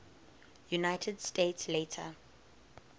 united states later